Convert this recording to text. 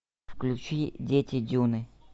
включи дети дюны